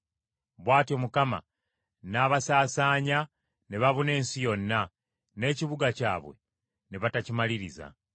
Bw’atyo Mukama n’abasaasaanya ne babuna ensi yonna, n’ekibuga kyabwe ne batakimaliriza.